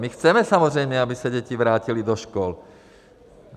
My chceme samozřejmě, aby se děti vrátily do škol.